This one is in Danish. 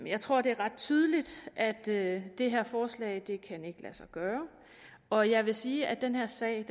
jeg tror det er ret tydeligt at det det her forslag ikke kan lade sig gøre og jeg vil sige at den her sag